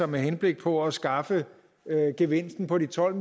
med henblik på at skaffe gevinsten på de tolv